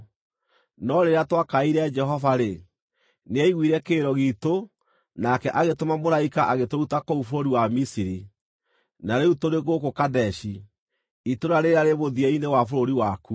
no rĩrĩa twakaĩire Jehova-rĩ, nĩaiguire kĩrĩro giitũ nake agĩtũma mũraika agĩtũruta kũu bũrũri wa Misiri. “Na rĩu tũrĩ gũkũ Kadeshi, itũũra rĩrĩa rĩ mũthia-inĩ wa bũrũri waku.